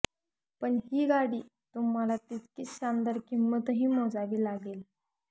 पण ही गाडी तुम्हाला तितकीच शानदार किंमतही मोजावी लागेल